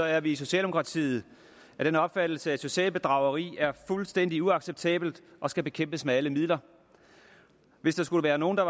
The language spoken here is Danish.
er vi i socialdemokratiet af den opfattelse at socialt bedrageri er fuldstændig uacceptabelt og skal bekæmpes med alle midler hvis der skulle være nogen der